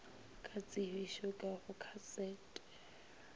ka tsebišo ka go kasete